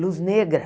Luz negra.